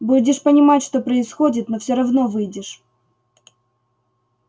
будешь понимать что происходит но все равно выйдешь